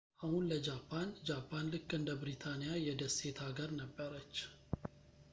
አሁን ለጃፓን ጃፓን ልክ እንደ ብሪታንያ የደሴት አገር ነበረች